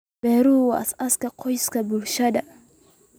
Beeruhu waa aasaaska aqoonsiga bulshada.